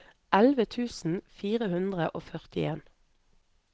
elleve tusen fire hundre og førtien